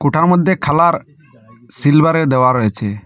ওটার মধ্যে খালার সিলভারের দেওয়া রয়েছে।